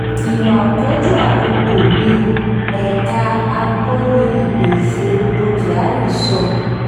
iwà ọ̀kánjúà gogò ní ẹ̀ka agbọ́ni ìpèsè epo kyari sọ.